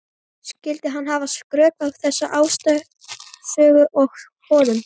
Skyldi hann hafa skrökvað þessari ástarsögu að honum?